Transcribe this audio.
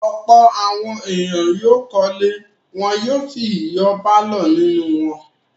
Ọ̀pọ̀ àwọn ènìyàn yóò kọ́lé wọn yóò sì yọ pálọ̀ nínú wọn.